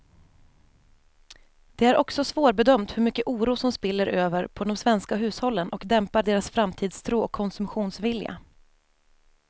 Det är också svårbedömt hur mycket oro som spiller över på de svenska hushållen och dämpar deras framtidstro och konsumtionsvilja.